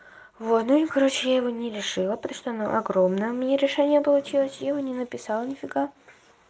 вот ну и короче я его не решила просто оно огромное у меня решение получилось я его не написала ни фига